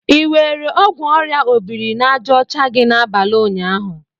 Ị were ọgwụ orịa obiri-na-aja ocha gị n'abalị ụnyaahụ?